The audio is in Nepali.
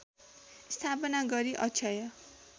स्थापना गरी अक्षय